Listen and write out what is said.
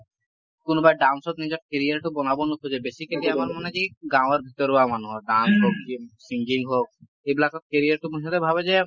কোনোবাই dance ত নিজৰ carrier টো বনাব নোখোজে । basically আমাৰ মানে কি গাওঁৰ ভিতৰুৱা মানুহৰ dance হওঁক চি singing হওঁক এইবিলাকত carrier টো মুঠতে ভাবে যে ,